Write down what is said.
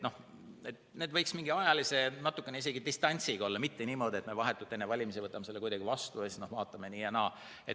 Need võiks mingi ajalise distantsiga olla, mitte niimoodi, et me vahetult enne valimisi võtame selle vastu ja siis vaatame nii ja naa.